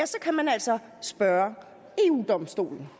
så kan man altså spørge eu domstolen